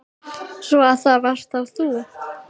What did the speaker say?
Svo. að það varst þá þú?